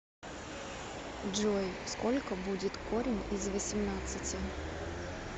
джой сколько будет корень из восемнадцати